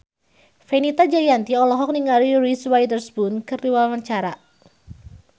Fenita Jayanti olohok ningali Reese Witherspoon keur diwawancara